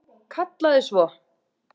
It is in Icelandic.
Kallaði svo: